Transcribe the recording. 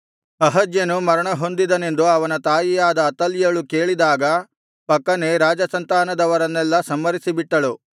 ಅಹಜ್ಯನು ಮರಣಹೊಂದಿದನೆಂದು ಅವನ ತಾಯಿಯಾದ ಅತಲ್ಯಳು ಕೇಳಿದಾಗ ಪಕ್ಕನೆ ರಾಜಸಂತಾನದವರನ್ನೆಲ್ಲಾ ಸಂಹರಿಸಿಬಿಟ್ಟಳು